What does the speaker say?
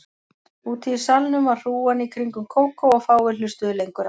Úti í salnum var hrúgan í kringum Kókó og fáir hlustuðu lengur á